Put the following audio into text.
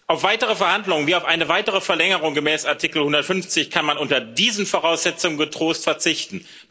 Auf weitere Verhandlungen wie auf eine weitere Verlängerung gemäß Artikel 50 kann man unter diesen Voraussetzungen getrost verzichten.